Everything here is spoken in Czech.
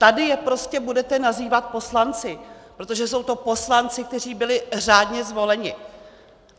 Tady je prostě budete nazývat poslanci, protože jsou to poslanci, kteří byli řádně zvoleni.